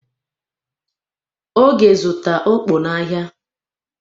Oge zụta okpor n'ahịa.